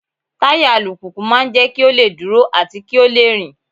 Táyà alùpùpù máa ń jẹ́ kí ó lè dúró àti kí ó lè rìn.